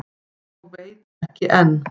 Og veit ekki enn.